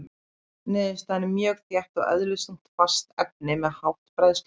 Niðurstaðan er mjög þétt og eðlisþungt fast efni með hátt bræðslumark.